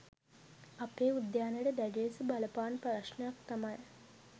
අපේ උද්‍යානයට දැඩි ලෙස බලපාන ප්‍රශ්නයක් තමයි